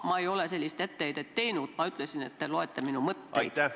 Ma ei ole sellist etteheidet teinud, ma ütlesin, et te loete minu mõtteid.